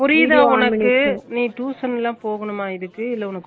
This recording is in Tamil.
புரியுதா உனக்கு நீ tuition ல போகணும்மா இதுக்குஇல்ல உனக்கு